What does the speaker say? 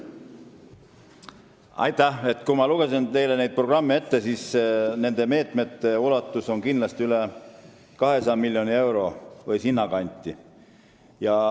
Nende teile etteloetud programmide meetmete ulatus on üle 200 miljoni euro või sinnakanti.